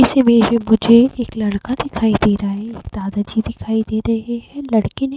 इस इमेज मे मुझे एक लड़का दिखाई दे रहा है। एक दादाजी दिखाई दे रहे हैं। लड़के ने --